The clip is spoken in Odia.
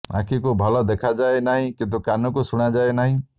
ଆଖିକୁ ଭଲ ଦେଖାଯାଏ ନାହିଁ କି କାନକୁ ଶୁଣାଯାଏ ନାହିଁ